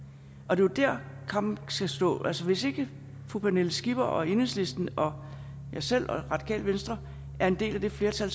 og det er der kampen skal stå altså hvis ikke fru pernille skipper og enhedslisten og jeg selv og radikale venstre er en del af det flertal